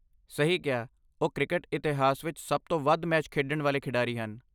ਸਹੀ ਕਿਹਾ ਉਹ ਕ੍ਰਿਕਟ ਇਤਿਹਾਸ ਵਿੱਚ ਸਭ ਤੋਂ ਵੱਧ ਮੈਚ ਖੇਡਣ ਵਾਲੇ ਖਿਡਾਰੀ ਹਨ